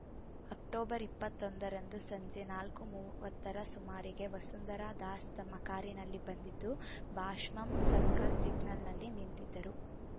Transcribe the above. October ಇಪ್ಪತ್ತೊಂದರಂದು ಸಂಜೆ ನಾಲ್ಕು ಮೂವತ್ತರ ಸುಮಾರಿಗೆ ವಸುಂಧರಾ ದಾಸ್‌ ತಮ್ಮ ಕಾರಿನಲ್ಲಿ ಬಂದಿದ್ದು ಭಾಷಮಂ ಸರ್ಕಲ್‌ ಸಿಗ್ನಲ್‌ನಲ್ಲಿ ನಿಂತಿದ್ದರು